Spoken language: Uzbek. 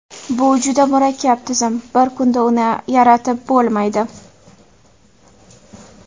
Bu juda murakkab tizim, bir kunda uni yaratib bo‘lmaydi.